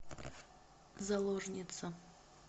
заложница